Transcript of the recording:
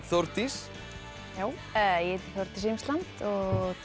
Þórdís Imsland og